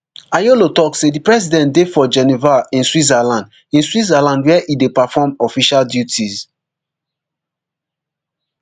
ayolo tok say di president dey for geneva in switzerland in switzerland wia e dey perform official duties